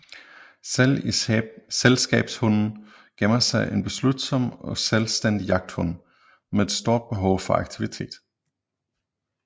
Selv i selskabshunden gemmer sig en beslutsom og selvstændig jagthund med et stort behov for aktivitet